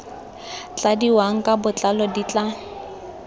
tladiwang ka botlalo di tla